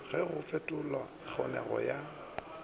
ge go fetolelwa kgonegišo ya